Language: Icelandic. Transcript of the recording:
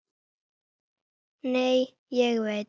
Nei, ég veit.